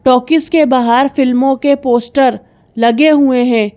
Talkies के बाहर फिल्मों के पोस्टर लगे हुए हैं।